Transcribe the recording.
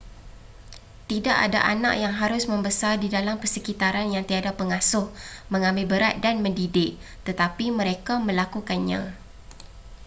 tidak ada anak yang harus membesar di dalam persekitaran yang tiada pengasuh mengambil berat dan mendidik tetapi mereka melakukannya